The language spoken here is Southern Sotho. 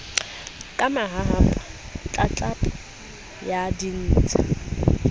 ka mahahapa tlatlapo ya ditsha